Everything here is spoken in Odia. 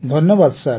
ଧନ୍ୟବାଦ ସାର୍